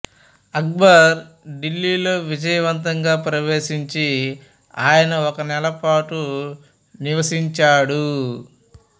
అక్బర్ ఢిల్లీలో విజయవంతంగా ప్రవేశించి ఆయన ఒక నెల పాటు నివసించాడు